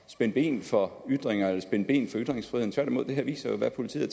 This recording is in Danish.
spænde ben for ytringer eller spænde ben for ytringsfriheden tværtimod det her viser jo hvad politiet